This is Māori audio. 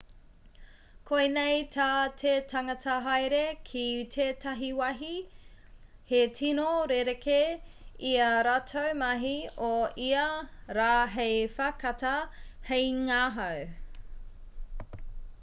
koinei tā te tangata haere ki tētahi wāhi he tino rerekē i ā rātou mahi o ia rā hei whakatā hei ngahau